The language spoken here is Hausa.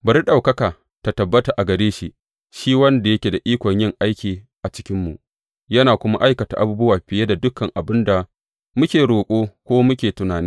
Bari ɗaukaka ta tabbata a gare shi shi wanda yake da ikon yin aiki a cikinmu, yana kuma aikata abubuwa fiye da dukan abin da muke roƙo, ko muke tunani.